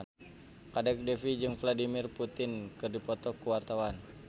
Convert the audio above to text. Kadek Devi jeung Vladimir Putin keur dipoto ku wartawan